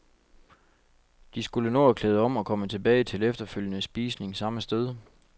De skulle nå at klæde om og komme tilbage til efterfølgende spisning samme sted.